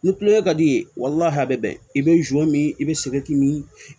Ni kulonkɛ ka di i ye walahi a bɛ bɛn i bɛ min i bɛ min